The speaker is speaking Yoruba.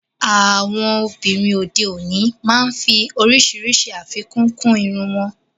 Àwọn obìnrin òde òní máa ń fí oríṣiríṣi afíkún kún ìrún wọn.